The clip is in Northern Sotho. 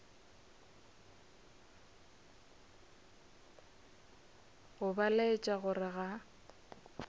go ba laetša gore ga